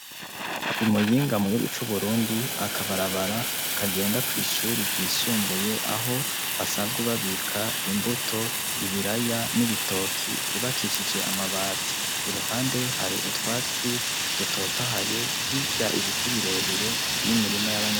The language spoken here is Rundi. I Muyinga mu gihugu cu Burundi akabarabara, kagenda kw'ishure ry'isumbuye aho basanzwe babika imbuto yibiraya nibitoki yubakishije amabati utwatsi dutotahaye hirya Ibiti birebire.